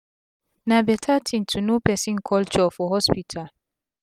na beta tin to know persin culture for hospital